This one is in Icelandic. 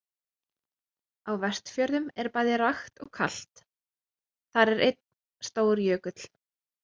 Á Vestfjörðum er bæði rakt og kalt og þar er einn stór jökull.